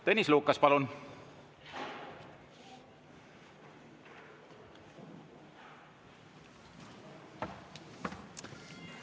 Tõnis Lukas, palun!